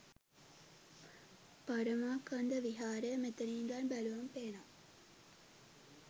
පරමාකන්ද විහාරය මෙතන ඉඳන් බැලුවම පේනවා